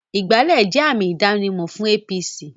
Ìgbálẹ́ jẹ́ àmì ìdánimọ̀ fún APC